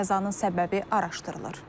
Qəzanın səbəbi araşdırılır.